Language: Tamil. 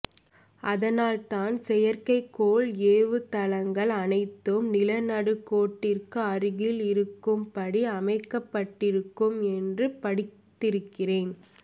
அதனால் தான் செயற்கை கோள் ஏவு தளங்கள் அனைத்தும் நில நடுக்கோட்டிற்கு அருகில் இருக்கும் படி அமைக்கப்பட்டிருக்கும் என்று படித்திருக்கிறேன்